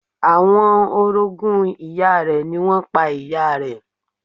Àwọn orogún ìyá rẹ̀ ni wọ́n pa ìyá rẹ̀.